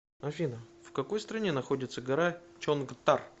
афина в какой стране находится гора чонгтар